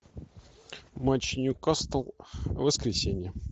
матч ньюкасл в воскресенье